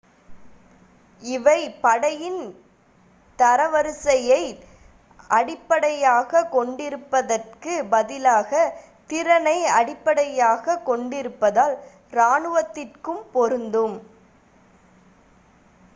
இவை படையின் தரவரிசையை அடிப்படையாகக் கொண்டிருப்பதற்குப் பதிலாக திறனை அடிப்படையாகக் கொண்டிருப்பதால் இராணுவத்திற்கும் பொருந்தும்